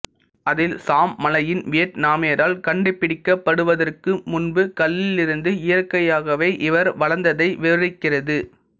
அதில் சாம் மலையின் வியட்நாமியரால் கண்டுபிடிக்கப்படுவதற்கு முன்பு கல்லிலிருந்து இயற்கையாகவே இவர் வளர்ந்ததை விவரிக்கிறது